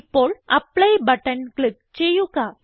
ഇപ്പോൾ apply button click ചെയ്യുക